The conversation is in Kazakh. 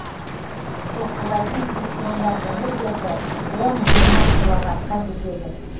соққылайтын электрондар энергиясы он жиырма киловаттқа жетеді